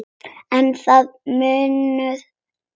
En það munar um þetta.